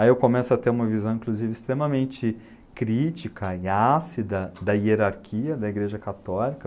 Aí eu começo a ter uma visão, inclusive, extremamente crítica e ácida da hierarquia da igreja católica.